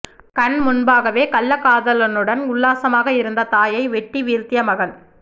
கண் முன்பாகவே கள்ளக்காதலனுடன் உல்லாசமாக இருந்த தாயை வெட்டி வீழ்த்திய மகன்